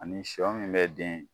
Ani sɔ min bɛ den